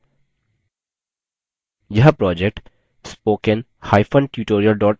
यह project